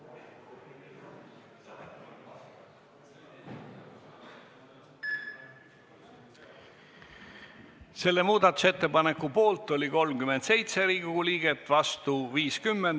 Hääletustulemused Selle muudatusettepaneku poolt oli 37 Riigikogu liiget, vastu 50.